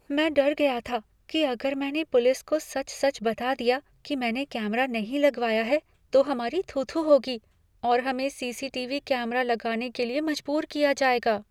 मैं डर गया था कि अगर मैंने पुलिस को सच सच बता दिया कि मैंने कैमरा नहीं लगवाया है, तो हमारी थू थू होगी और हमें C C T V camera लगाने के लिए मजबूर किया जाएगा।